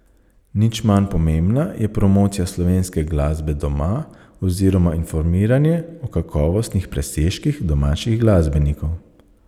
Nič manj pomembna je promocija slovenske glasbe doma oziroma informiranje o kakovostnih presežkih domačih glasbenikov.